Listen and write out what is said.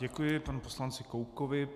Děkuji panu poslanci Koubkovi.